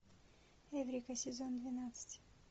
эврика сезон двенадцать